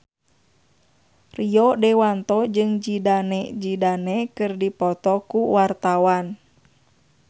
Rio Dewanto jeung Zidane Zidane keur dipoto ku wartawan